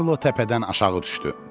Karlo təpədən aşağı düşdü.